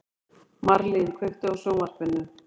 Marlín, kveiktu á sjónvarpinu.